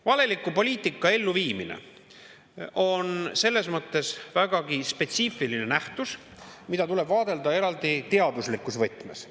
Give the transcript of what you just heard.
Valeliku poliitika elluviimine on selles mõttes vägagi spetsiifiline nähtus, mida tuleb vaadelda eraldi teaduslikus võtmes.